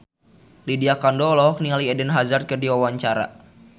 Lydia Kandou olohok ningali Eden Hazard keur diwawancara